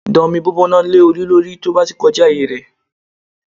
Da omi gbígbóná lé Olú lórí tí ó bá ti kọjá ààyè rẹ